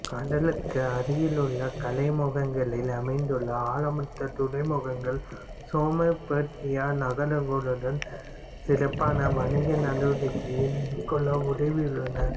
கடலுக்கு அருகிலுள்ள கழிமுகங்களில் அமைந்துள்ள ஆழமற்ற துறைமுகங்கள் மெசொப்பொத்தேமியா நகரங்களுடன் சிறப்பான வணிக நடவடிக்கைகளை மேற்கொள்ள உதவியுள்ளன